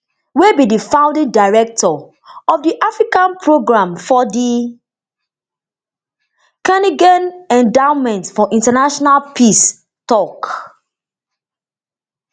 wey be di founding director of di africa program for di carnegie endowment for international peace tok